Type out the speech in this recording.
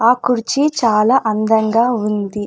ఆ కుర్చీ చాలా అందంగా ఉంది.